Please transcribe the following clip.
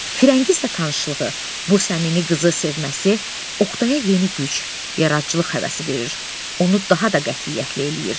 Firəngizlə tanışlığı, bu səmimi qızı sevməsi Oqtaya yeni güc, yaradıcılıq həvəsi verir, onu daha da qətiyyətli eləyir.